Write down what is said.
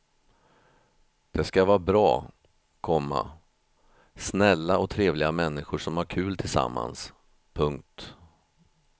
Det ska vara bra, komma snälla och trevliga männskor som har kul tillsammans. punkt